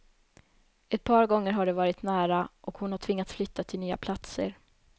Ett par gånger har det varit nära, och hon har tvingats flytta till nya platser.